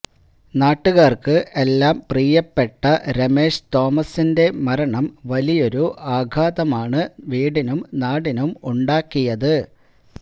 നാട്ടുകാർക്ക് എല്ലാം പ്രിയപ്പെട്ട രമേഷ് തോമസിന്റെ മരണം വലിയൊരു ആഘാതമാണ് വീടിനും നാടിനും ഉണ്ടാക്കിയത്